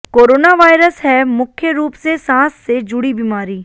coronavirus है मुख्य रूप से सांस से जुड़ी बीमारी